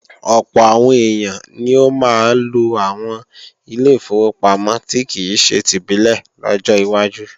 Ọ̀pọ̀ àwọn èèyàn ni ó máa lo àwọn ilé ìfowópamọ́ tí kìí ṣe tìbílẹ̀ lọ́jọ́ wájú